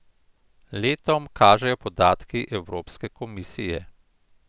Letom, kažejo podatki Evropske komisije.